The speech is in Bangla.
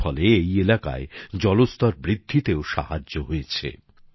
এর ফলে এই এলাকায় জলস্তর বৃদ্ধিতেও সাহায্য হয়েছে